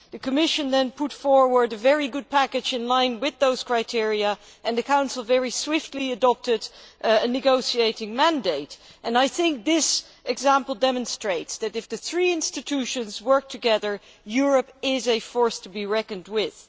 The Commission then put forward a very good package in line with those criteria, and the Council very swiftly adopted a negotiating mandate. I think this example demonstrates that, if the three institutions work together, Europe is a force to be reckoned with.